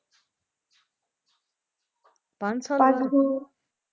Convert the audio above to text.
ਪੰਜ ਸਾਲਾਂ